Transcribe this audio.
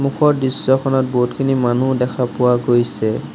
ওপৰত দৃশ্যখনত বহুতখিনি মানুহ দেখা পোৱা গৈছে।